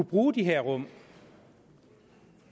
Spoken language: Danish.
bruge de her rum